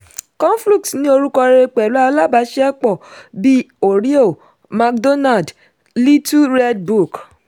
conflux ní orúkọ rere pẹ̀lú alábàáṣiṣẹ́pọ̀ bí oreo mcdonald’s little red book.